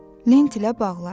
Lent ilə bağladı.